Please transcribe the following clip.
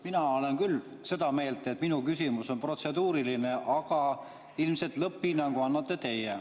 Mina olen küll seda meelt, et minu küsimus on protseduuriline, aga lõpphinnangu annate ilmselt teie.